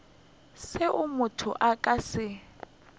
seo motho a ka se